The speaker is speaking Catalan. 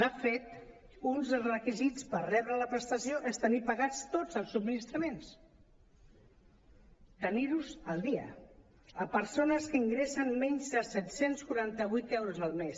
de fet uns requisits per rebre la pres·tació és tenir pagats tots els subministraments tenir·los al dia a persones que in·gressen menys de set cents i quaranta vuit euros al mes